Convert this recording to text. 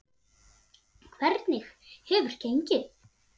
Hvernig hefur gengið?